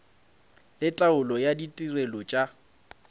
le taolo ya ditirelo tša